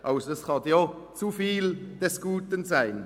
Es kann auch zu viel des Guten sein.